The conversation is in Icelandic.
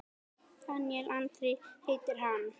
Daníel Andri heitir hann.